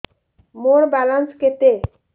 ମୋର ବାଲାନ୍ସ କେତେ